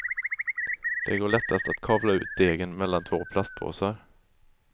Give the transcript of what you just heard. Det går lättast att kavla ut degen mellan två plastpåsar.